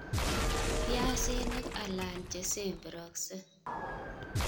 Piasinik alan chesemberokse"